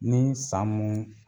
Ni san mun